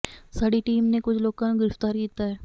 ਸਾਡੀ ਟੀਮ ਨੇ ਕੁਝ ਲੋਕਾਂ ਨੂੰ ਗ੍ਰਿਫ਼ਤਾਰ ਕੀਤਾ ਹੈ